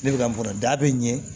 Ne bɛ ka n kɔrɔ da bɛ n ɲɛ